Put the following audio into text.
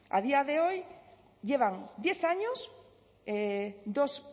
a día de hoy llevan diez años dos